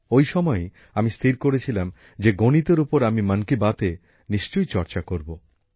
ওই সময়ই আমি স্থির করেছিলাম যে গণিতের উপর আমি মন কি বাতে নিশ্চয়ই চর্চা করব